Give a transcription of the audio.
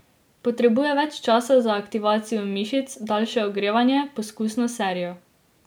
Potrebuje več časa za aktivacijo mišic, daljše ogrevanje, poskusno serijo.